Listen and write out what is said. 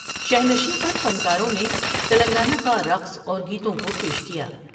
شینشین پر فنکاروں نے تلنگانہ کا رقص اور گیتوں کو پیش کیا ۔